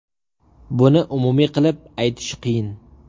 Buni umumiy qilib aytish qiyin.